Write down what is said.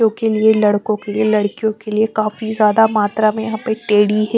के लिए लड़कों के लिए लड़कियों के लिए काफी ज्यादा मात्रा में यहां पर टैडी है।